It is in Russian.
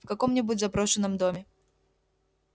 в каком-нибудь заброшенном доме